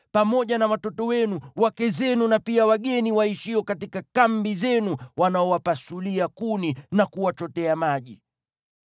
pamoja na watoto wenu, wake zenu na pia wageni waishio katika kambi zenu wanaowapasulia kuni na kuwachotea maji.